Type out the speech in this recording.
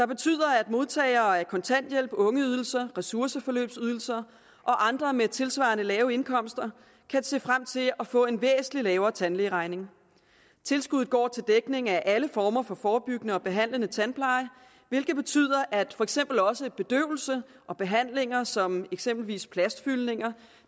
betyder at modtagere af kontanthjælp ungeydelse og ressourceforløbsydelse og andre med tilsvarende lave indkomster kan se frem til at få en væsentlig lavere tandlægeregning tilskuddet går til dækning af alle former for forebyggende og behandlende tandpleje hvilket betyder at for eksempel også bedøvelse og behandlinger som eksempelvis plastfyldninger